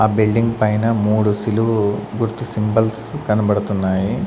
ఆ బిల్డింగ్ పైన మూడు సిలువు గుర్తు సింబల్స్ కనబడుతున్నాయి.